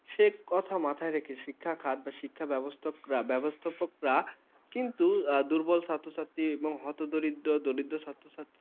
সে কোথায় মাথায় রেখে শিক্ষা খাতে শিক্ষা ব্যবস্থা করা বাস্থাপকরা কিন্তু দুর্বল ছাত্রছাত্রী হতদরিদ্র দরিদ্র ছাত্র-ছাত্রী ।